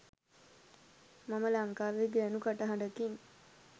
මම ලංකාවේ ගෑනු කටහඬකින්